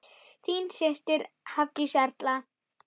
Þín systir, Hafdís Erla.